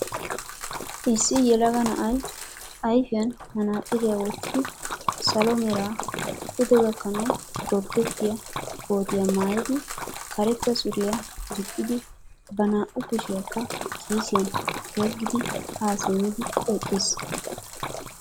Issi yelaga na"ay ayfiyan manaxiriya wottidi salo mera pude gakkanaw gorddettiya kootiya maayidi karetta suriya gixxidi ba naa"u kushiyaakka kiisiyan yeggidi haa simmidi eqqis.